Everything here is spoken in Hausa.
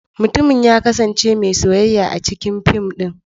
Mutumin ya kasance mai soyayya a cikin fim din.